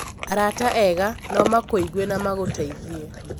Arata ega no makũigue na magũteithie.